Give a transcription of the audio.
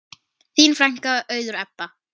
Þín frænka, Auður Ebba.